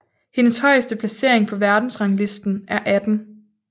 Hendes højeste placering på verdensrangslisten er 18